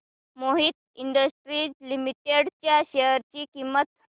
Mohit industries limited च्या share ची किंमत